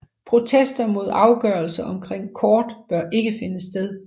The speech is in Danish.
Protester mod afgørelser omkring kort bør ikke finde sted